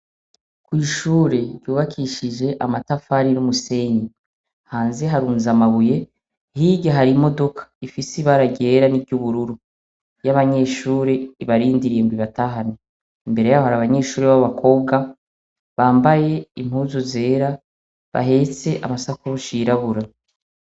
Kw'ishure ryubakishije amatafari n'umusenyi. Hanze harunze amabuye, hirya hari imodoka ifise ibara ryera n'iryubururu, y'abanyeshure, ibarindiriye ngo ibatahane. Imbere y'aho hari abanyeshure b'abakobwa, bambaye impuzu zera, bahetse amasakoshi yirabura.